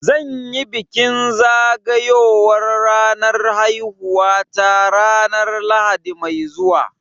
Zan yi bikin zagayowar ranar haihuwata ranar Lahadi mai zuwa